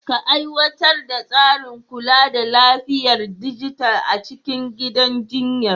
Ka aiwatar da tsarin kula da lafiyar dijital a cikin gidan jinyar.